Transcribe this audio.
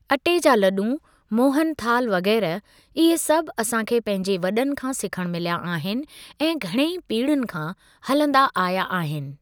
अटे जा लॾु, मोहन थाल वग़ैरह इहे सभु असां खे पंहिंजे वॾनि खां सिखणु मिलिया आहिनि ऐं घणेईं पीढ़ीयुनि खां हलंदा आया आहिनि।